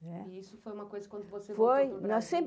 É. E isso foi uma coisa quando você voltou para o Brasil? Foi, nós